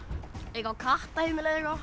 eitthvað